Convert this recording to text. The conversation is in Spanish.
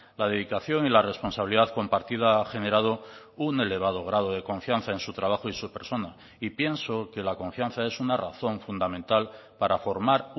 la dedicación y la responsabilidad compartida ha generado un elevado grado de confianza en su trabajo y su persona y pienso que la confianza es una razón fundamental para formar